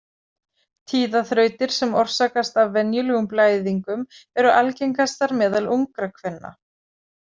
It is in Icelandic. Tíðaþrautir sem orsakast af venjulegum blæðingum eru algengastar meðal ungra kvenna.